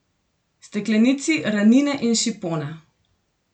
Steklenici ranine in šipona!